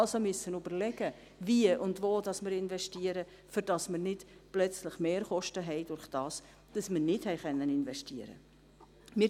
dass wir also überlegen müssen, wie und wo wir investieren, damit wir nicht plötzlich Mehrkosten haben aufgrund der Tatsache, dass wir nicht investieren konnten.